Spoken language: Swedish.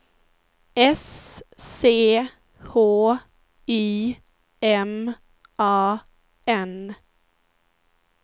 S C H Y M A N